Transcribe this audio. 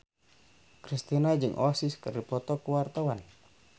Kristina jeung Oasis keur dipoto ku wartawan